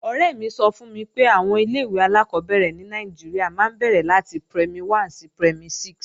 Ọ̀rẹ́ mi sọ fún mi pé àwọn ilé-ìwé alákọ́bẹ̀rẹ̀ ní Nàìjíríà máa ń bẹ̀rẹ̀ láti Primary 1 sí Primary 6